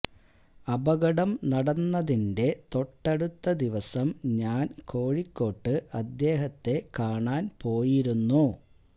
അപകടം നടന്നതിന്റെ തൊട്ടടുത്ത ദിവസം ഞാന് കോഴിക്കോട്ട് അദ്ദേഹത്തെ കാണാന് പോയിരുന്നു